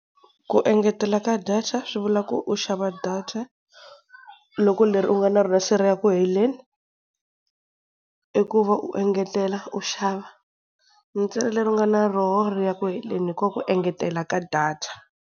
Ku engetela ka data swivula ku u xava data loko leri u nga na rona se ri ya ku heleni. I ku va u engetela u xava ntsena leri u nga na rona ri ya ku heleni hi kona ku engetela ka data.